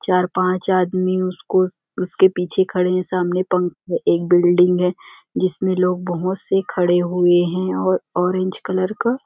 चार पांच आदमी उसको उसके पीछे खड़े हैं सामने पंख एक बिल्डिंग है जिसमें लोग बहुत से खड़े हुए हैं और ऑरेंज कलर का --